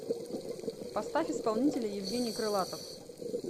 поставь исполнителя евгений крылатов